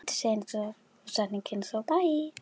Sveinn Jónsson Nei.